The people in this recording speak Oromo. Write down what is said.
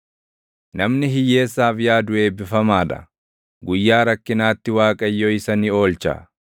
Namni hiyyeessaaf yaadu eebbifamaa dha; guyyaa rakkinaatti Waaqayyo isa ni oolcha.